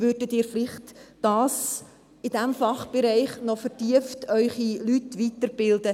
«Würden Sie vielleicht Ihre Leute in diesem Fachbereich noch vertieft weiterbilden?